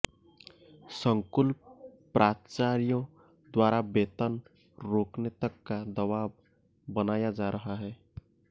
संकुल प्राचार्यों द्वारा वेतन रोकने तक का दबाव बनाया जा रहा है